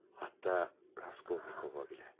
Hatta Raskolnikova belə.